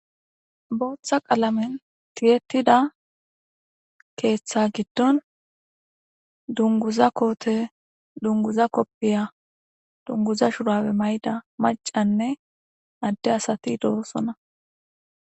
booththa qalamen tiyetida keeththa giddon dunguza koote dunguza koppiya dunguza shurawe may7da macanne adde asati do7osona